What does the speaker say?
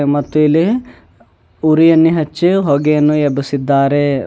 ಮತ್ತು ಇಲ್ಲಿ ಉರಿಯನ್ನೆ ಹಚ್ಚಿ ಹೊಗೆಯನ್ನು ಎಬ್ಬುಸಿದ್ದಾರೆ.